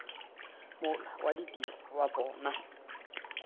mola wa ditiro wa bona